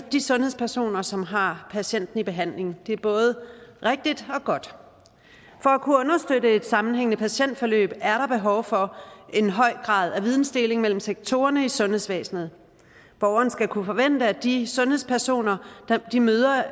de sundhedspersoner som har patienten i behandling det er både rigtigt og godt for at kunne understøtte et sammenhængende patientforløb er der behov for en høj grad af vidensdeling mellem sektorerne i sundhedsvæsenet borgeren skal kunne forvente at de sundhedspersoner man møder